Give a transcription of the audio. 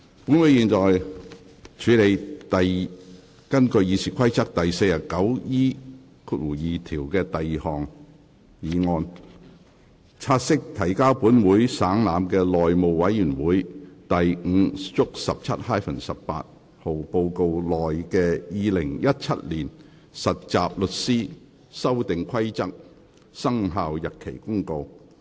本會現在處理根據《議事規則》第 49E2 條動議的第二項議案：察悉提交本會省覽的內務委員會第 5/17-18 號報告內的《〈2017年實習律師規則〉公告》。